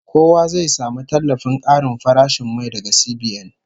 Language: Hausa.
Kowa zai samu tallafin karin farashin mai daga CBN